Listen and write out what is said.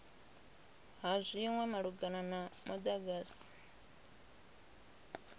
ha zwinwe malugana na mudagasi